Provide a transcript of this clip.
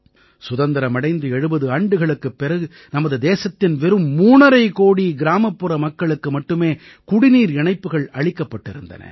சுதந்திரம் அடைந்து 70 ஆண்டுகளுக்குப் பிறகு நமது தேசத்தின் வெறும் மூணரை கோடி கிராமப்புற மக்களுக்கு மட்டுமே குடிநீர் இணைப்புகள் அளிக்கப்பட்டிருந்தன